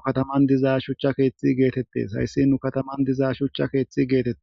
nu kataman dizaa shucha keeththi geetettes hayssi nu kataman dizaa shucha keeththi geetettees.